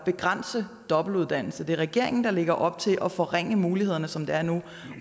begrænse af dobbeltuddannelse det er regeringen der lægger op til at forringe mulighederne som de er nu